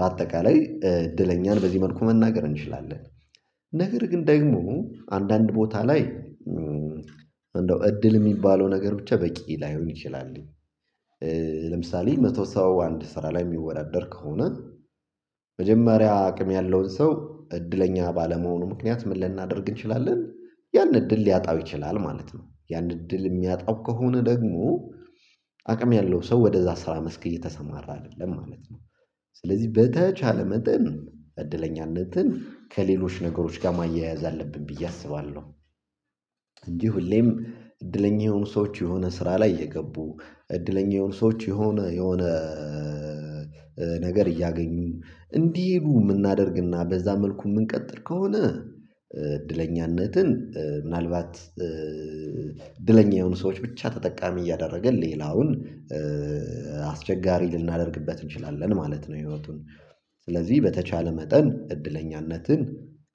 በአጠቃላይ እድለኛን በዚህ መልኩ መናገር እንችላለን። ነገር ግን ደግሞ አንዳንድ ቦታ ላይ እንደው እድል የሚባለው ነገር ብቻ በቂ ላይሆን ይችላልኝ። ለምሳሌ መቶ ሰባ አንድ ስራ ላይ የሚወዳደር ከሆነ መጀመሪያ አቅም ያለውን ሰው እድለኛ ባለመሆኑ ምክንያት ምን ልናደርግ እንችላለን? ያን እድል ሊያጣው ይችላል ማለት ነው። ያን እድል የሚያጣው ከሆነ ደግሞ አቅም ያለው ሰው ወደዛ ስራ መስክ እየተሰማራ አይደለም ማለት ነው። ስለዚህ በተቻለ መጠን እድለኛነትን ከሌሎች ነገሮች ጋር ማያያዝ አለብን ብዬ አስባለሁ። እንዲህ ሁሌም እድለኛ የሆኑ ሰዎች የሆነ ስራ ላይ የገቡ እድለኛ የሆኑ ሰዎች የሆነ የሆነ ነገር እያገኙ እንዲሄዱ የምናደርግና በዛ መልኩ የምንቀጥል ከሆነ። እድለኛነትን ምናልባት እድለኛ የሆኑ ሰዎች ብቻ ተጠቃሚ እያደረገ ሌላውን አስቸጋሪ ልናደርግበት እንችላለን ማለት ነው። ህይወቱን ስለዚህ በተቻለ መጠን እድለኛነትን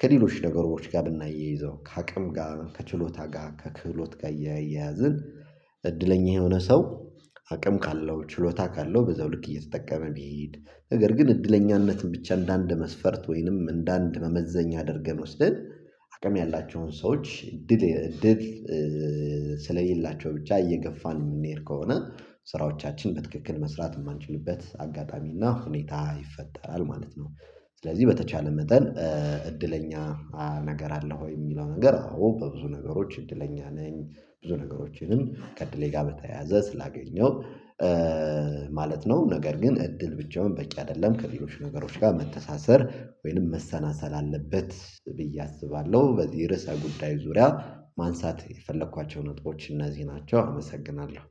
ከሌሎች ነገሮች ጋር ብናይ ይዘው ከአቅም ጋር ከችሎታ ጋር ከክህሎት ጋር እየያዝን። እድለኛ የሆነ ሰው አቅም ካለው ችሎታ ካለው በዛው ልክ እየተጠቀመ ቢሄድ። ነገር ግን እድለኛነትን ብቻ እንደአንድ መስፈርት ወይንም እንደአንድ መመዘኛ አድርገን ወስደን አቅም ያላችሁን ሰዎች ድል ድል ስለየላቸው ብቻ እየገፋን የምንሄድ ከሆነ ስራዎቻችን በትክክል መስራት የማንችልበት አጋጣሚ እና ሁኔታ ይፈጠራል ማለት ነው። ስለዚህ በተቻለ መጠን። እድለኛ ነገር አለ ወይ? የሚለው ነገር አዎ በብዙ ነገሮች እድለኛ ነኝ። ብዙ ነገሮችንም ከእድሌ ጋር በተያያዘ ስላገኘው ማለት ነው። ነገር ግን እድል ብቻውን በቂ አይደለም ከሌሎች ነገሮች ጋር መተሳሰር ወይንም መሰናሰል አለበት ብዬ አስባለሁ። በዚህ ርዕሰ ጉዳይ ዙሪያ ማንሳት የፈለኳቸው ነጥቦች እነዚህ ናቸው አመሰግናለሁ።